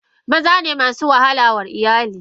Mazane masu wahalar wa a iyali.